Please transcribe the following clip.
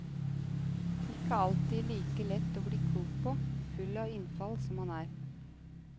Ikke alltid like lett å bli klok på, full av innfall som han er.